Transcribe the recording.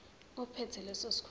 ophethe leso sikhundla